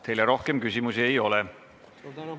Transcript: Teile rohkem küsimusi ei ole.